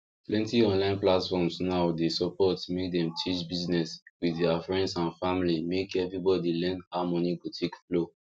plenty online platforms now they support make them discuss business with their friends and familymake everybody learn how money go take flow